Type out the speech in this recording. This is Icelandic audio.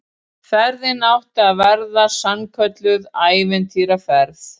Ferðin átti að verða sannkölluð ævintýraferð